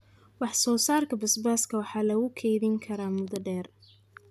Wax-soo-saarka basbaaska waxaa lagu keydin karaa muddo dheer.